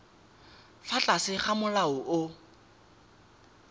fa tlase ga molao o